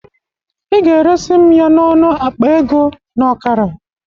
Ị ga-eresi m ya n'ọnọ akpa ego na ọkara